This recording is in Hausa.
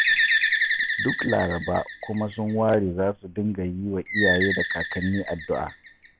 Duk Laraba kuma sun ware za su dinga yi wa iyaye da kakanni addu'a